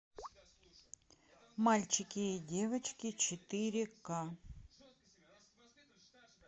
мальчики и девочки четыре ка